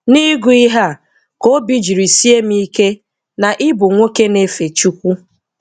N'ịgụ ihe a ka obi jiri sie m ike na ị bụ nwoke na-efe Chukwu.